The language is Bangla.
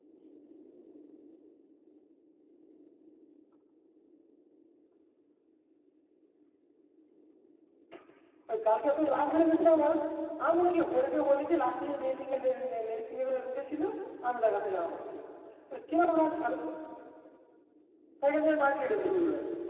কালকে এত রাগ ধরে গাছে আমার এই নাকি হরি কে বলেছি লাস্টের যে লেডি ফিঙ্গার এ উঠেছিল আমি তার থেকে Number চাইছি কিরম রাগ ধরে সেখান থেকে বাড়ি গেলুম দুপুর বেলা